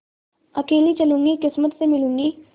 अकेली चलूँगी किस्मत से मिलूँगी